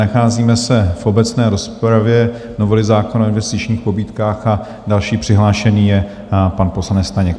Nacházíme se v obecné rozpravě novely zákona o investičních pobídkách a další přihlášený je pan poslanec Staněk.